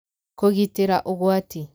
Kũgitĩra Ũgwati: